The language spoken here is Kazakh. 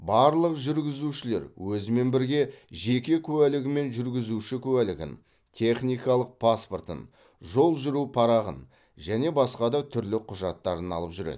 барлық жүргізушілер өзімен бірге жеке куәлігі мен жүргізуші куәлігін техникалық паспортын жол жүру парағын және басқа да түрлі құжаттарын алып жүреді